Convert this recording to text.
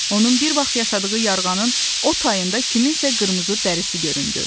Onun bir vaxt yaşadığı yarğanın o tayında kimsə qırmızı dərisi göründü.